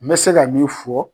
N bɛ se ka min fɔ.